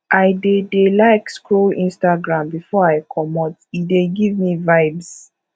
i dey dey like scroll instagram before i comot e dey give me vibes